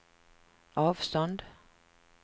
avstånd